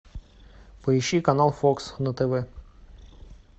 поищи канал фокс на тв